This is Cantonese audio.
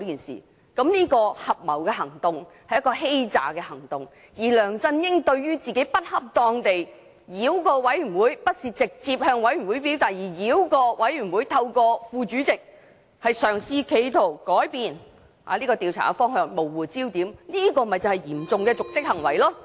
這合謀行動是欺詐行動，而梁振英不恰當地繞過專責委員會，不是直接向專責委員會表達意見，而是透過副主席繞過專責委員會作出修訂，企圖改變調查的方向，模糊焦點，這便是嚴重的瀆職行為。